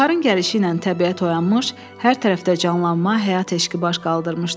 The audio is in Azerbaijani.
Baharın gəlişi ilə təbiət oyanmış, hər tərəfdə canlanma, həyat eşqi baş qaldırmışdı.